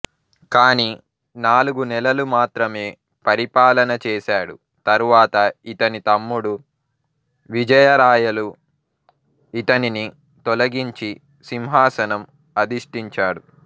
కానీ నాలుగునెలలు మాత్రమే పరిపాలన చేసాడు తరువాత ఇతని తమ్ముడు విజయ రాయలు ఇతనిని తొలిగించి సింహాసనం అధిష్ఠించాడు